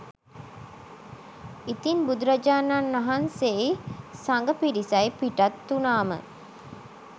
ඉතින් බුදුරජාණන් වහන්සේයි සඟ පිරිසයි පිටත්වුණාම